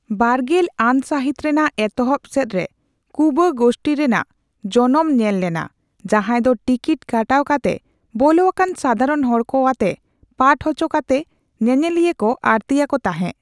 ᱵᱟᱨᱜᱮᱞ ᱟᱱ ᱥᱟᱹᱦᱤᱛ ᱨᱮᱱᱟᱜ ᱮᱛᱚᱦᱚᱵ ᱥᱮᱫᱨᱮ 'ᱠᱩᱸᱵᱟᱹ' ᱜᱳᱥᱴᱷᱤ ᱨᱮᱱᱟᱜ ᱡᱚᱱᱚᱢ ᱧᱮᱞ ᱞᱮᱱᱟ, ᱡᱟᱦᱟᱸᱭ ᱫᱚ ᱴᱤᱠᱤᱴ ᱠᱟᱴᱟᱣ ᱠᱟᱛᱮ ᱵᱚᱞᱚ ᱟᱠᱟᱱ ᱥᱟᱫᱷᱟᱨᱚᱱ ᱦᱚᱲ ᱠᱚ ᱟᱛᱮ ᱯᱟᱴᱷ ᱦᱚᱪᱚ ᱠᱟᱛᱮ ᱧᱮᱧᱮᱞᱤᱭᱟᱹᱠᱚ ᱟᱹᱲᱛᱤᱭᱟᱠᱚ ᱛᱟᱦᱮᱸ ᱾